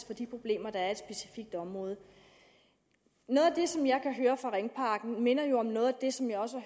for de problemer der er i et specifikt område noget af det som jeg hører fra ringparken minder om noget af det som jeg også